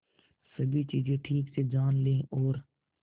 सभी चीजें ठीक से जान ले और